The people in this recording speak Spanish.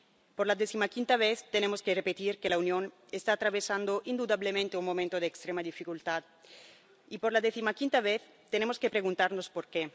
Por decimoquinta vez tenemos que repetir que la Unión está atravesando indudablemente un momento de extrema dificultad y, por decimoquinta vez, tenemos que preguntarnos por qué.